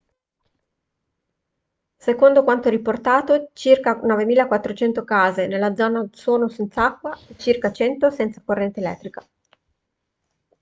secondo quanto riportato circa 9400 case della zona sono senza acqua e circa 100 senza corrente elettrica